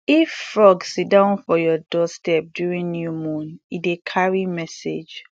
if frog siddon for your doorstep during new moon e dey carry message